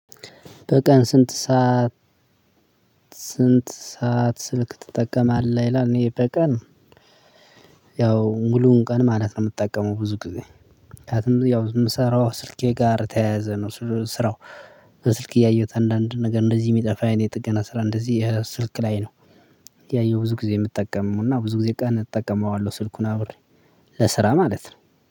በቀን ስንት ሰዓት? ስንት ሰዓት ስልክ ትጠቀማለህ ይላል። እኔ በቀን ያው ሙሉውን ቀን ማለት ነው የምጠቀመው ብዙ ጊዜ። ምክንያቱም ያው የምሰራው ስልኬ ጋር የተያያዘ ነው። ስራ። በስልኬ እያየሁት አንዳንድ ነገር እንደዚህ የሚጠፋ የጥገና ስራ እንደዚህ ስልክ ላይ ነው። ያየሁት ብዙ ጊዜ የምጠቀመው እና ብዙ ጊዜ ቀን እጠቀመዋለሁ ስልኩን አብሬ። ለስራ ማለት ነው።